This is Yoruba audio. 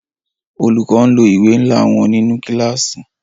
Olùkọ n lo ìwé nla wọn nínú kílàsì.